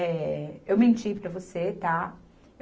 Eh... Eu menti para você, tá?